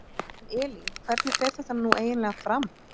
En Elín hvernig fer þetta nú eiginlega fram?